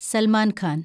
Salman Khan